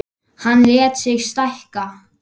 Hann lét sig stækka.